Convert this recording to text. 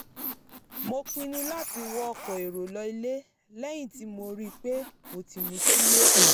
mo pinnu láti wọ ọkọ̀ èrò lọ ilé lẹ́yìn tí mo rí i pé mo ti mutí yó